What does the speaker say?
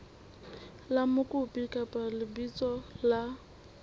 la mokopi kapa lebitso la